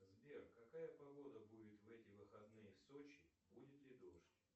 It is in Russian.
сбер какая погода будет в эти выходные в сочи будет ли дождь